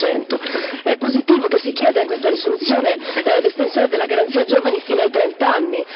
60. È positivo che si chieda in questa risoluzione l'estensione della Garanzia giovani fino a trent'anni.